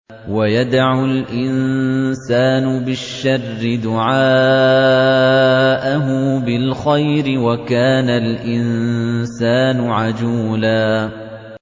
وَيَدْعُ الْإِنسَانُ بِالشَّرِّ دُعَاءَهُ بِالْخَيْرِ ۖ وَكَانَ الْإِنسَانُ عَجُولًا